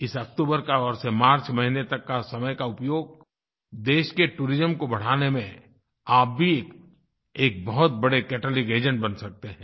इस अक्तूबर महीने से मार्च महीने तक का समय का उपयोग देश के टूरिज्म को बढ़ाने में आप भी एक बहुत बड़े कैटलिस्ट एजेंट बन सकते हैं